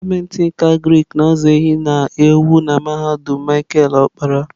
Dipatịmentị nke Agrik na-azụ ehi na ewu na mahadum Micheal okpara.